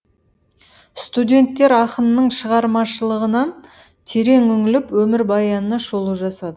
студенттер ақынның шығармашлығынан терең үңіліп өмірбаянына шолу жасады